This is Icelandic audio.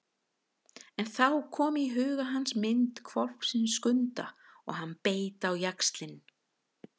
En þá kom í huga hans mynd hvolpsins Skunda og hann beit á jaxlinn.